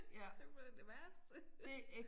Det simpelthen det værste